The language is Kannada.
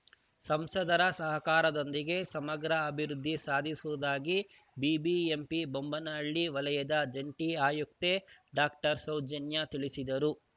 ಸಂಸದರ ಸಹಕಾರದೊಂದಿಗೆ ಸಮಗ್ರ ಅಭಿವೃದ್ಧಿ ಸಾಧಿಸುವುದಾಗಿ ಬಿಬಿಎಂಪಿ ಬೊಮ್ಮನಹಳ್ಳಿ ವಲಯದ ಜಂಟಿ ಆಯುಕ್ತೆ ಡಾಕ್ಟರ್ ಸೌಜನ್ಯಾ ತಿಳಿಸಿದರು